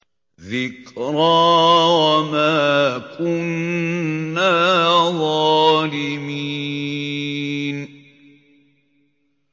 ذِكْرَىٰ وَمَا كُنَّا ظَالِمِينَ